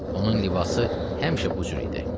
Onun libası həmişə bu cür idi.